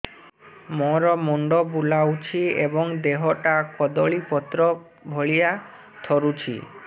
ମୋର ମୁଣ୍ଡ ବୁଲାଉଛି ଏବଂ ଦେହଟା କଦଳୀପତ୍ର ଭଳିଆ ଥରୁଛି